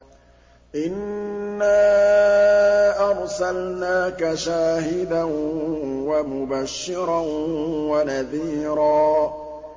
إِنَّا أَرْسَلْنَاكَ شَاهِدًا وَمُبَشِّرًا وَنَذِيرًا